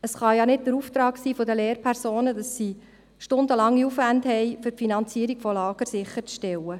Es kann nicht der Auftrag der Lehrpersonen sein, einen stundenlangen Aufwand zu haben, um die Finanzierung der Lager sicherzustellen.